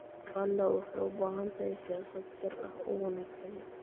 Uganda waxay u baahan tahay siyaasad sir ah oo wanaagsan.